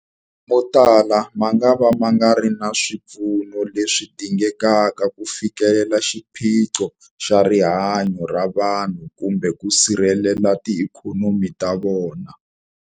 Motala mangava ma nga ri na swipfuno leswi dingekaka ku fikelela xiphiqo xa rihanyu ra vanhu kumbe ku sirhelela tiikhonomi ta vona.